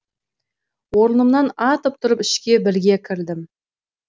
орнымнан атып тұрып ішке бірге кірдім